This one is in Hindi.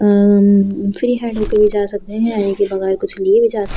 अ फ्री हैंड होके भी जा सकते हैं यानि की बगैर कुछ लिए भी जा सकते --